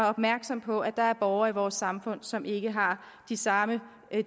opmærksom på at der er borgere i vores samfund som ikke har de samme